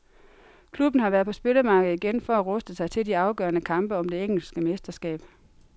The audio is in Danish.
Klubben har været på spillermarkedet igen for at ruste sig til de afgørende kampe om det engelske mesterskab.